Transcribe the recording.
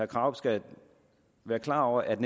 krarup skal være klar over at